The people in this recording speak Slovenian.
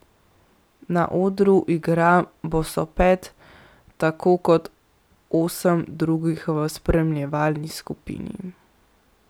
Na odru igra bosopet, tako kot osem drugih v spremljevalni skupini.